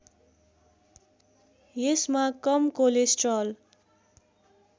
यसमा कम कोलेस्ट्रल